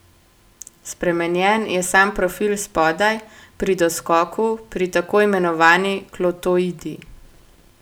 Spremenjen je sam profil spodaj, pri doskoku, pri tako imenovani klotoidi.